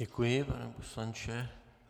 Děkuji, pane poslanče.